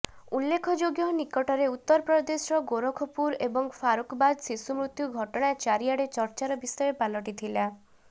ଉଲ୍ଳେଖଯୋଗ୍ୟ ନିକଟରେ ଉତ୍ତପ୍ରଦେଶର ଗୋରଖପୁର ଏବଂ ଫାରୁକବାଦ ଶିଶୁ ମୃତ ଘଟଣା ଚାରିଆଡ଼େ ଚର୍ଚ୍ଚାର ବିଷୟ ପାଲଟିଥିଲା